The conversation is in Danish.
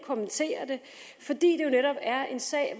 kommentere det fordi det jo netop er en sag